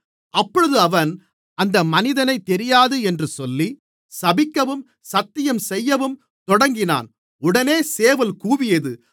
அப்பொழுது அவன் அந்த மனிதனைத் தெரியாது என்று சொல்லி சபிக்கவும் சத்தியம் செய்யவும் தொடங்கினான் உடனே சேவல் கூவியது